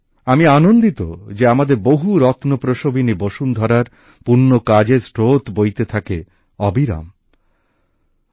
আমি আনন্দিত যে আমাদের বহু রত্ন প্রসবিনী বসুন্ধরার পুণ্য কাজের স্রোত অবিরাম বয়ে চলেছে